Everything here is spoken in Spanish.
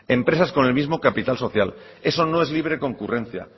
empresas con el mismo capital social eso no es libre concurrencia